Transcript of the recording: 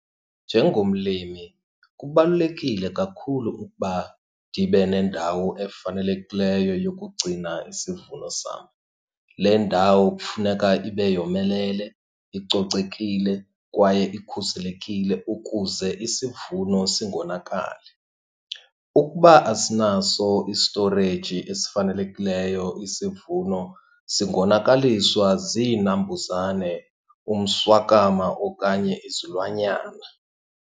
Njengomlimi kubalulekile kakhulu ukuba ndibe nendawo efanelekileyo yokugcina isivuno sam. Le ndawo kufuneka ibe yomelele, icocekile, kwaye ikhuselekile ukuze isivuno singonakali. Ukuba asinaso istoreji esifanelekileyo isivuno singonakaliswa ziinambuzane, umswakama, okanye izilwanyana.